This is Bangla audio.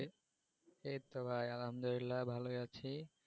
এইতো ভাই আলহামদুলিল্লা ভালো আছি।